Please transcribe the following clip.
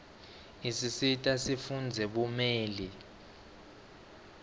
isisita sifundzele bumeli